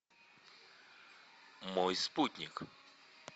мой спутник